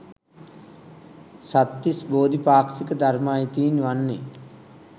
සත්තිස් බෝධි පාක්ෂික ධර්ම අයිති වන්නේ.